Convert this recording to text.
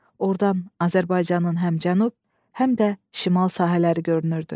Ordan Azərbaycanın həm cənub, həm də şimal sahələri görünürdü.